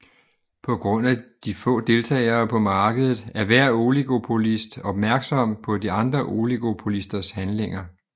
På grund af de få deltagere på markedet er hver oligopolist opmærksom på de andre oligopolisters handlinger